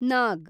ನಾಗ್